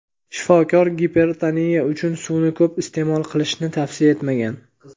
shifokor gipertoniya uchun suvni ko‘p iste’mol qilishni tavsiya etmagan.